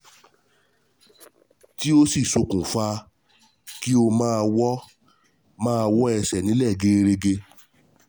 Tí ó sì ṣokùnfa kí ó máa wọ́ máa wọ́ ẹsẹ̀ nílẹ̀ gẹẹrẹgẹ